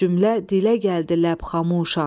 Cümlə dilə gəldi ləbxamuşan.